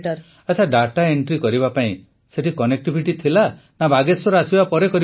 ପ୍ରଧାନମନ୍ତ୍ରୀ ଆଚ୍ଛା ଦାତା ଏଣ୍ଟ୍ରି କରିବା ପାଇଁ ସେଠି କନେକ୍ଟିଭିଟି ଥିଲା ନା ବାଗେଶ୍ୱର ଆସିବା ପରେ କରିବାକୁ ପଡ଼ୁଥିଲା